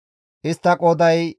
Istta qooday 32,200.